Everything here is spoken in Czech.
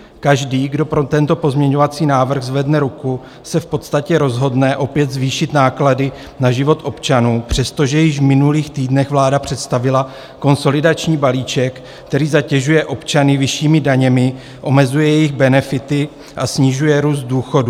Každý, kdo pro tento pozměňovací návrh zvedne ruku, se v podstatě rozhodne opět zvýšit náklady na život občanů, přestože již v minulých týdnech vláda představila konsolidační balíček, který zatěžuje občany vyššími daněmi, omezuje jejich benefity a snižuje růst důchodů.